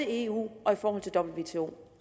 eu og